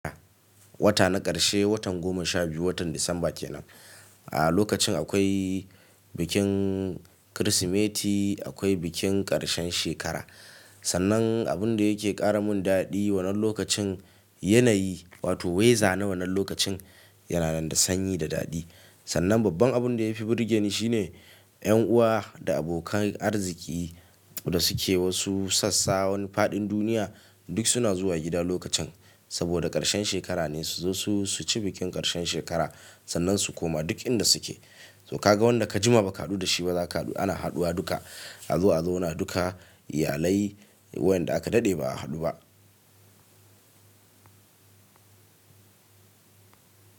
Wata na ƙarshe, watan goma sha biyu, watan Disamba kenan. A lokacin akwai bikin Kirsimeti, akwai bikin ƙarshen shekara. Sannan abun da yake ƙara mun daɗi wannan lokacin, yanayi wato weza na wannan lokacin yana nan da sanyi da daɗi. Sannan babban abun da ya fi burge ni shine yan uwa da abokan arziki da suke wasu sassa wan faɗin duniya duk suna zuwa gida lokacin. Saboda ƙarshen shekara ne su zo su ci bikin ƙarshen shekara sannan su koma duk inda suke. To ka ga wanda ka jima ba ka haɗu da shi ba za ka haɗu, ana haɗuwa duka. Azo a zauna duka, iyalai wayanda aka daɗe ba a haɗu ba.